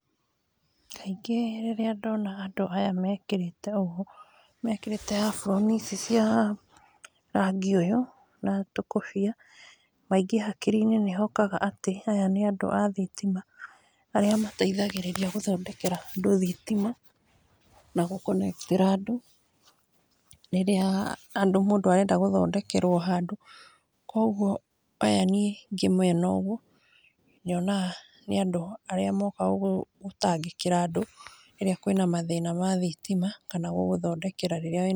Kaingĩ rĩrĩa ndona andũ aya mekĩrĩte ũũ, mekĩrĩte aburoni cia rangi ũyũ na tũkũbia, maingĩ hakiri-inĩ nĩhokaga atĩ aya nĩ andũ a thitima, arĩa mateithagĩrĩria gũthondekera andũ thitima, nagũ connect -tĩra andũ, rĩrĩa mũndũ arenda gũthondekerwo handũ, kũgwo aya ngĩmona ũguo, nyonaga nĩ andũ arĩa mokaga gũtangĩkĩra andũ rĩrĩa kwĩna mathĩna ma thitima, kana gũgũthondekera rĩrĩa wĩ na...